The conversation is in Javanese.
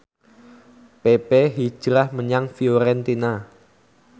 pepe hijrah menyang Fiorentina